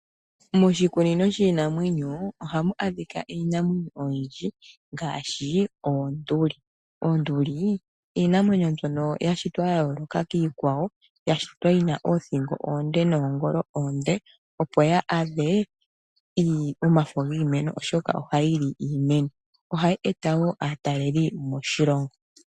Moshikunino shinamwenyo ohamu adhika iinamwenyo oyindji ngaashi oonduli. Oonduli iinamwenyo mbyoka yashitwa yayooloka kiikwawo, yashitwa yina oothingo oonde noongolo oonde, opo ya adhe omafo giimeno oshoka ohayi li iimeno, ohayi eta wo aataleli moshilongo.